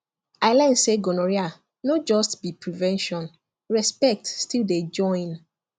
i learn say gonorrhea no just be prevention respect still dey join